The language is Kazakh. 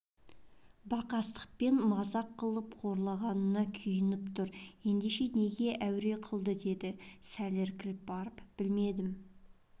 бақастықпен мазақ қылып қорлағанына күйініп тұр ендеше неге әуре қылды деді сәл іркіліп барып білмедім